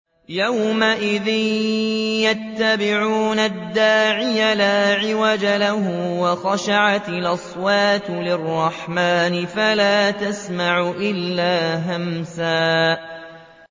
يَوْمَئِذٍ يَتَّبِعُونَ الدَّاعِيَ لَا عِوَجَ لَهُ ۖ وَخَشَعَتِ الْأَصْوَاتُ لِلرَّحْمَٰنِ فَلَا تَسْمَعُ إِلَّا هَمْسًا